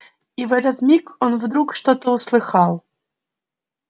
и в этот миг он вдруг что-то услыхал